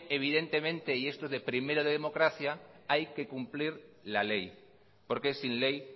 evidentemente y esto de primero de democracia hay que cumplir la ley porque sin ley